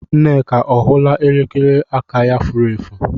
Nneka ọ hụla elekere aka ya furu efu?